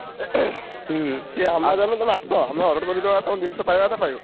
ହୁଁ ସିଏ Amazon ଗୋଟେ ଆମେ order କରି ଦବା ତମେ ଜିନିଷ ପାୟା କଥା ପାଇବ।